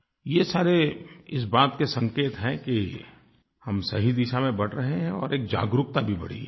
ये सारे इस बात के संकेत हैं कि हम सही दिशा में बढ़ रहे हैं और एक जागरूकता भी बढ़ी है